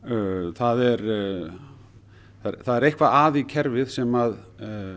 það er það er eitthvað að í kerfi sem